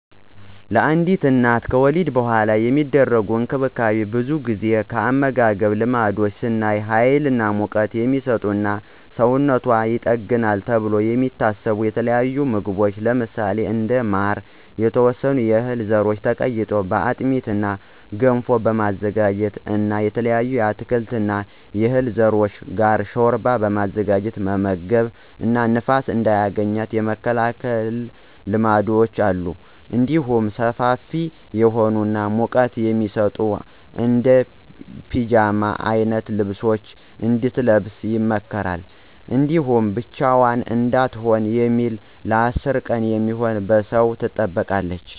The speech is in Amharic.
ለአንድ እናት ከወሊድ በኃላ የሚደረግ እንክብካቤ ብዙውን ጊዜ የአመጋገብ ልማዶች ስናይ ሀይል እና ሙቀት" የሚሰጡ እና ሰውነቷን ይጠግናሉ ተብለው የሚታሰቡ የተለያዩ ምግቦች ለምሳሌ እንደ ማር፣ የተወሰኑ የህል ዘሮች ተቀይጦ በአጥሚት እና ገንፎ በማዘጋጀት እና ከተለያዩ የአትክልት እና የዕህል ዘሮች ጋር ሾርባ በማዘጋጀት መመገብ እና ንፋስ እንዳያገኛት የመከላከል ልማዶች አሉ። እንዲሁም ሰፋፊ የሆኑ እና ሙቀት የሚሰጡ እንደ ፒጃማ አይነት ልብሶችን እንድትለብስ ይመከራል። እንዲሁም ብቻዋን እንዳትሆን በሚል ለ10 ቀን የሚሆን በሰው ትጠበቃለች።